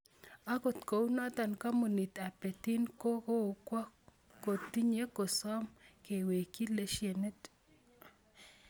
Akot kunotok Kampunit ab Betin kokokwo kotini kosom kewekchi lesienit .